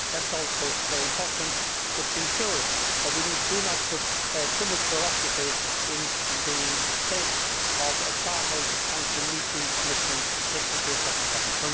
That is also very important, but we should ensure that we do not put too much bureaucracy in the place of farmers trying to meet these commitments just in case that might happen.